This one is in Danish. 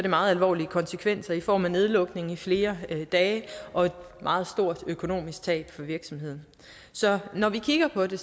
meget alvorlige konsekvenser i form af nedlukning i flere dage og et meget stort økonomisk tab for virksomheden så når vi kigger på det